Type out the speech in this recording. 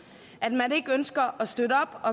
at man ikke ønsker at støtte op